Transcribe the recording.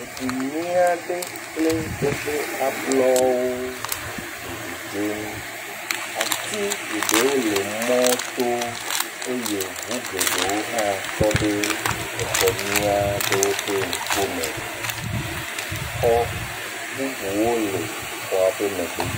Edu nyui aɖe kple eƒe ablɔwo le dzedzem, ati geɖewo le mɔto eye ŋu geɖewo hã tɔ ɖe exɔ nyui aɖewo ƒe ŋkume, xɔ bubuwo le xɔa ƒe megbe.